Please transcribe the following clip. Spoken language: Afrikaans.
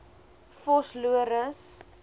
vosloorus